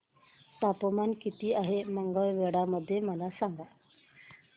तापमान किती आहे मंगळवेढा मध्ये मला सांगा